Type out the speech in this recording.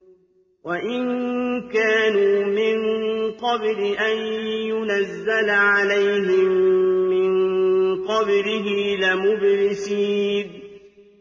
وَإِن كَانُوا مِن قَبْلِ أَن يُنَزَّلَ عَلَيْهِم مِّن قَبْلِهِ لَمُبْلِسِينَ